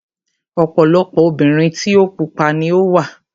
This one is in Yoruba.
Ọ̀pọ̀lọpọ̀ obìnrin tí o pupa ni ó wà.